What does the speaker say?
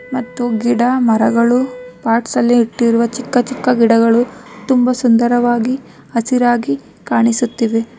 ಮತ್ತು ಗಿಡ ಮರಗಳು ಪಾರ್ಟ್ಸ್ ಅಲ್ಲಿ ಇಟ್ಟಿರುವ ಚಿಕ್ಕ ಚಿಕ್ಕ ಗಿಡಗಳು ತುಂಬಾ ಸುಂದರವಾಗಿ ಹಸಿರಾಗಿ ಕಾಣಿಸುತ್ತಿವೆ.